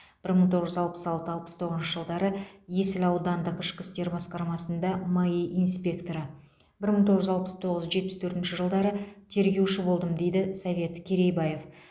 бір мың тоғыз жүз алпыс алты алпыс тоғызыншы жылдары есіл аудандық ішкі істер басқармасында маи инспекторы бір мың тоғыз жүз алпыс тоғыз жетпіс төртінші жылдары тергеуші болдым дейді совет керейбаев